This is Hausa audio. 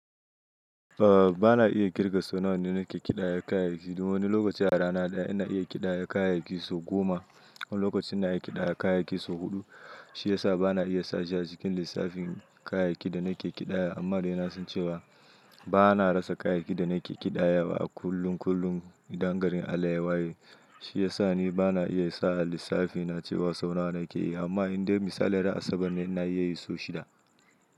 A'a bana iya ƙirga sau nawa da nake ƙidaya kayayyaki domin lokaci a rana ɗaya ina iya ƙidaya kayayyaki sau goma. Lokacin ina ƙidaya kayayyaki sau huɗu, shi ya sa bana iya sashi a cikin lissafin kayayyakin da nake ƙidaya. Amma dai na son cewa bana rasa kayayyakin da nake ƙidaya wa a kullum kullum idan garin allah yawa. Shi ya sa ni bana iya sa a lissafina cewa sau nawa nake yi amma indai misali ɗaya a Asabar ne ina iya yi sau shida.